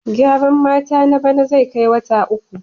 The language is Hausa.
Gyaran mata na bana zai kai wata uku.